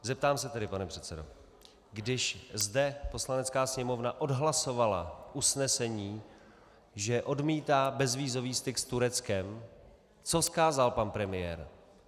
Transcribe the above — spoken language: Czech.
Zeptám se tedy, pane předsedo: Když zde Poslanecká sněmovna odhlasovala usnesení, že odmítá bezvízový styk s Tureckem, co vzkázal pan premiér?